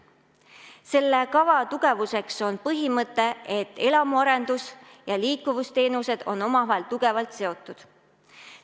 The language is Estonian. Selle kava tugevuseks on põhimõte, et elamuarendus ja liikuvusteenused on omavahel tugevalt seotud.